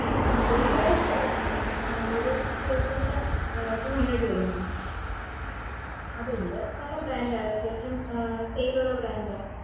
ആ വെയ്‍ക ടെ product ആ ഒരു two thousand two hundred വര mam അതുണ്ട് നല്ല brand ആണ് അത്യാവശ്യം sale ഉള്ള brand ആ